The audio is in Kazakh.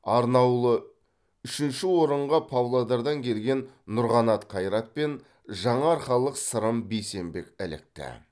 арнаулы үшінші орынға павлодардан келген нұрқанат қайрат пен жаңаарқалық сырым бейсенбек ілікті